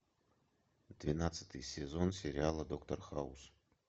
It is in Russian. двенадцатый сезон сериала доктор хаус